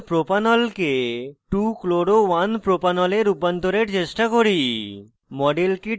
এখন 1propanol কে 2chloro1propanol এ রূপান্তরের চেষ্টা করি